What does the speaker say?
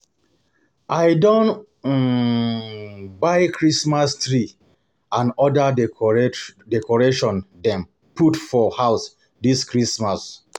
I don um buy Christmas tree and oda decoration dem put for house dis Christmas. um